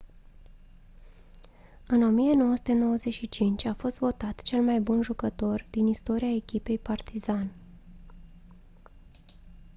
în 1995 a fost votat cel mai bun jucător din istoria echipei partizan